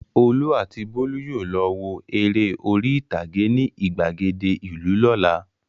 Olú àti Bólú yóò lọ wo eré orí-ìtàgé ní ìgbàgede ìlú lọ́la.